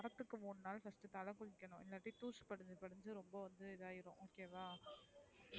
வரதுக்கு மூணு நாள் first தலைக்கு உத்தனும் இலேன ரொம்ப பூச்சி வந்தரும் okay வா இத போயிரும்